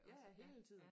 Ja ja hele tiden